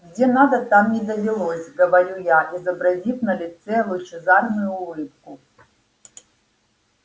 где надо там и довелось говорю я изобразив на лице лучезарную улыбку